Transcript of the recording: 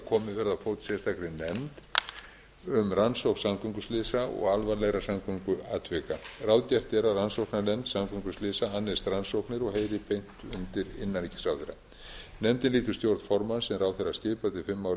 komið verði á fót sérstakri nefnd um rannsókn samgönguslysa og alvarlegra samgönguatvika ráðgert er að rannsóknarnefnd samgönguslysa annist rannsóknir og heyri beint undir innanríkisráðherra nefndin lýtur stjórn formanns sem ráðherra skipar til fimm ára í